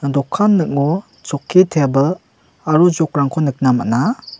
dokan ning·o chokki tebil aro jok rangko nikna man·a.